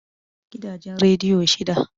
Gidajen rediyo shida